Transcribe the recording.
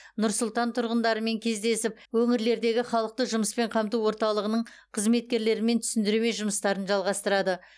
нұр сұлтан тұрғындарымен кездесіп өңірлердегі халықты жұмыспен қамту орталығының қызметкерлерімен түсіндірме жұмыстарын жалғастырады